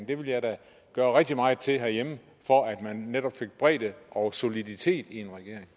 det ville jeg da gøre rigtig meget til herhjemme for at man netop fik bredde og soliditet i